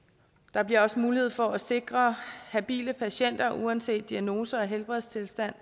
der bliver også mulighed for at sikre habile patienter uanset diagnose og helbredstilstand